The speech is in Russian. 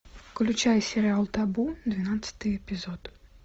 включай сериал табу двенадцатый эпизод